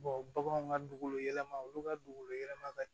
baganw ka dugukolo yɛlɛma olu ka dugukolo yɛlɛma ka